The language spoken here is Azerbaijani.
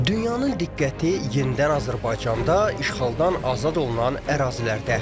Dünyanın diqqəti yenidən Azərbaycanda işğaldan azad olunan ərazilərdə.